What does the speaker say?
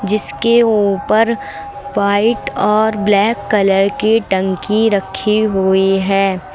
जिसके ऊपर व्हाइट और ब्लैक कलर की टंकी रखी हुई है।